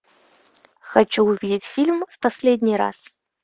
хочу увидеть фильм в последний раз